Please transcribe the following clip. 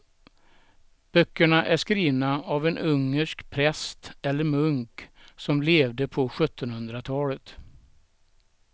Böckerna är skrivna av en ungersk präst eller munk som levde på sjuttonhundratalet.